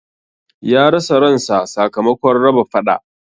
Ya rasa ran sa sakamakon raba faɗa